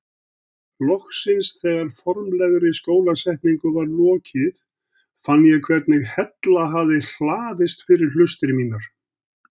Loksins þegar formlegri skólasetningu var lokið fann ég hvernig hella hafði hlaðist fyrir hlustir mínar.